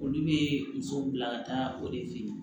Olu bɛ musow bila ka taa o de fe yen